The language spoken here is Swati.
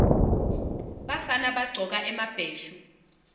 bafana bagcoka emabheshu